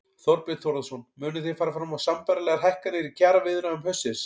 Þorbjörn Þórðarson: Munið þið fara fram á sambærilegar hækkanir í kjaraviðræðum haustsins?